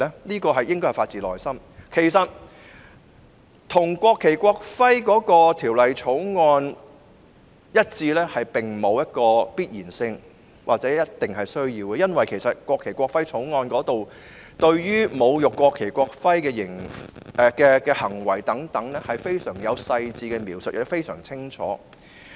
其實，有關罰則與《國旗及國徽條例》一致並不必然或必需，因為《國旗及國徽條例》對於侮辱國旗及國徽的行為有非常細緻及清晰的描述。